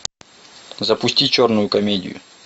запусти черную комедию